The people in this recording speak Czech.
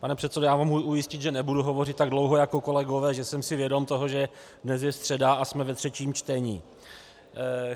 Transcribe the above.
Pane předsedo, mohu vás ujistit, že nebudu hovořit tak dlouho jako kolegové, že jsem si vědom toho, že dnes je středa a jsme ve třetím čtení.